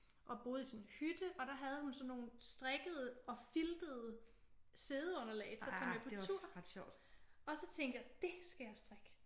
Og boede i sådan en hytte og der havde hun sådan nogle strikkede og filtede siddeunderlag til at tage med på tur og så tænkte jeg det skal jeg strikke